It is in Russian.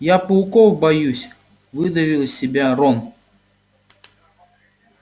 я пауков боюсь выдавил из себя рон